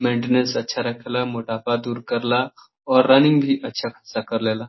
Maintains अच्छा रखेला मोटापा दूर करेला और रनिंग भी अच्छा खासा कर लेला।